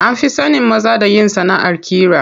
An fi sanin maza da yin sanaʼar ƙira.